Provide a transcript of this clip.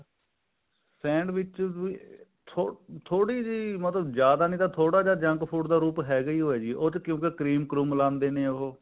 sandwich ਵੀ ਥੋੜੀ ਜੀ ਥੋੜੀ ਜੀ ਮਤਲਬ ਜਿਆਦਾ ਨੀ ਤਾਂ ਥੋੜਾ ਜਾ junk food ਦਾ ਰੂਪ ਹੈਗਾ ਹੈ ਜੀ ਕਿਉਂਕਿ cream ਕ੍ਰੁਮ ਲਗਾਉਂਦੇ ਨੇ ਉਹ